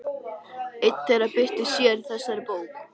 Ein þeirra birtist síðar í þessari bók.